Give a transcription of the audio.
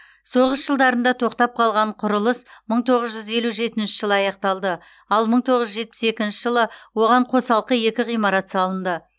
соғыс жылдарында тоқтап қалған құрылыс мың тоғыз жүз елу жетінші жылы аяқталды ал мың тоғыз жүз жетпіс екінші жылы оған қосалқы екі ғимарат салынды